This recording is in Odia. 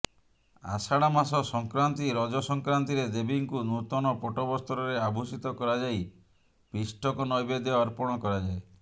ଆଷାଢ଼ ମାସ ସଂକ୍ରାନ୍ତି ରଜ ସଂକ୍ରାନ୍ତିରେ ଦେବୀଙ୍କୁ ନୂତନ ପଟ୍ଟବସ୍ତ୍ରରେ ଆଭୂଷିତ କରାଯାଇ ପିଷ୍ଟକ ନୈବେଦ୍ୟ ଅର୍ପଣ କରାଯାଏ